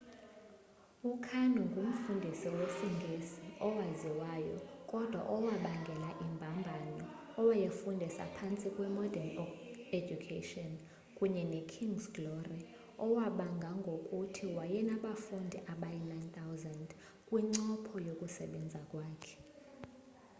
ukarno ngumfundisi wesingesi owaziwayo kodwa owabangela imbambano owayefundisa phantsi kwe-modern education kunye ne-king's glory owabanga ngokuthi wayenabafundi abayi-9,000 kwincopho yokusebenza kwakhe